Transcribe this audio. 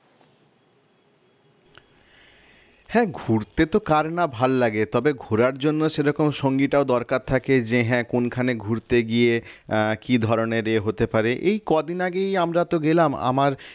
হ্যাঁ ঘুরতে তো কার না ভাল লাগে তবে ঘোরার জন্য সেরকম সংগীটাও দরকার থাকে যে হ্যাঁ কোনখানে ঘুরতে গিয়ে আহ কি ধরনের এ হতে পারে এই কদিন আগেই আমরা তো গেলাম আমার